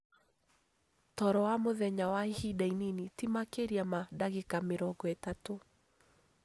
Toro wa mũthenya wa ihinda inini, ti makĩria ma ndagĩka mĩrongo ĩtatũ,